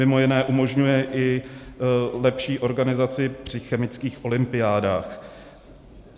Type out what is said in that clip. Mimo jiné umožňuje i lepší organizaci při chemických olympiádách.